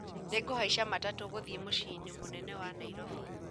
Nĩngũhaica matatũ gũthiĩ mũciĩ-inĩ mũnene wa Nairobi